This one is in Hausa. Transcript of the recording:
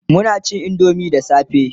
Muna cin indomie da safe